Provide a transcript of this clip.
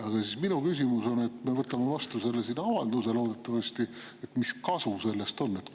Aga minu küsimus on: me võtame loodetavasti selle avalduse vastu, aga mis kasu sellest on?